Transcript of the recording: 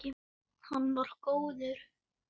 Með rauðu loki.